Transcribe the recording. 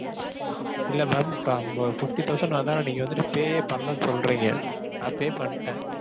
இல்ல ma'am அம்ப~ fifty thousand வந்துட்டு pay ஏ பண்ணலன்னு சொல்றீங்க. நான் pay பண்ணிட்டேன்.